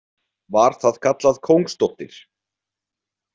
"Var það kallað Kóngsdóttir ""."